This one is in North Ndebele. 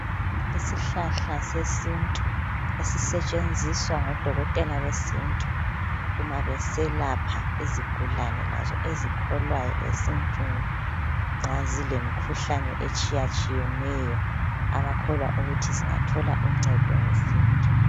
Isihlahla sesintu esisetshenziswa ngodokotela besintu uma beselapha izigulane lazo ezikholwa esintwini nxa zilemkhuhlane etshiya tshiyeneyo abakholwa ukuthi singathola uncedo ngesintu.